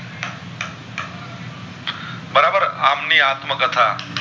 આમ ની આત્મ કથા